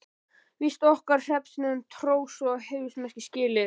Víst á okkar hreppsnefnd hrós og heiðursmerki skilið.